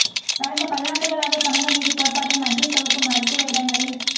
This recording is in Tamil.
கடந்த பல்லாண்டுகளாக சமூக நீதிக் கோட்பாட்டை மத்திய தொகுப்பு மருத்துவ இடங்களில்